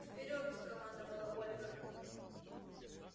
вперёд командовала ольга